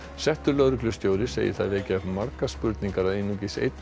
segir það vekja upp margar spurningar að einungis einn dómari hafi dæmt í